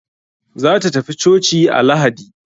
Za ta tafi coci a lahadi.